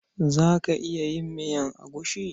Za ka iya yin miyar agushi?